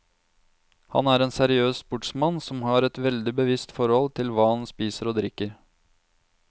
Han er en seriøs sportsmann som har et veldig bevisst forhold til hva han spiser og drikker.